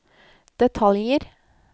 detaljer